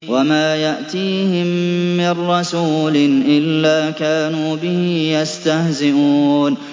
وَمَا يَأْتِيهِم مِّن رَّسُولٍ إِلَّا كَانُوا بِهِ يَسْتَهْزِئُونَ